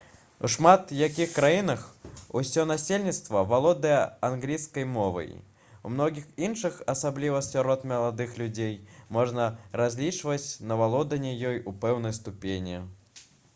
у шмат якіх краінах усё насельніцтва валодае англійскай мовай у многіх іншых асабліва сярод маладых людзей можна разлічваць на валоданне ёй у пэўнай ступені